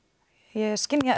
ég skynja